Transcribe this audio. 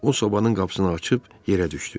O sobanın qapısını açıb yerə düşdü.